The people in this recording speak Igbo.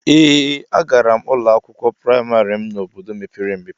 Ee a gara m ụlọ akwụkwọ praịmarị m n'obodo mepere emepe.